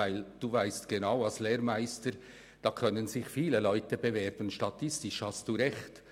Als Lehrmeister weiss er genau, dass sich viele Leute um eine Lehrstelle bewerben können.